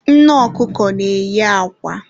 Nne ọkụkọ na-eyi akwa